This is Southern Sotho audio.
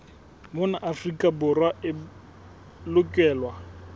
mona afrika borwa e lokelwa